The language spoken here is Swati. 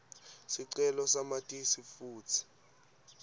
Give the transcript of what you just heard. sicelo samatisi futsi